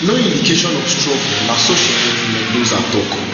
no indication of struggle na so sheriff mendoza tok